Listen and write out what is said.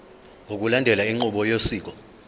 ngokulandela inqubo yosiko